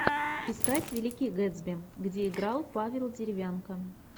искать великий гэтсби где играл павел деревянко